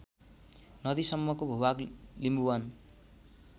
नदीसम्मको भूभाग लिम्बुवान